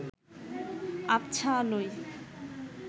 আবছা আলোয়